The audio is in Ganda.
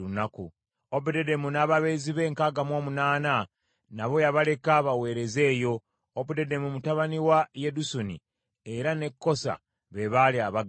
Obededomu n’ababeezi be enkaaga mu omunaana nabo yabaleka baweereze eyo. Obededomu mutabani wa Yedusuni, era ne Kosa be baali abaggazi.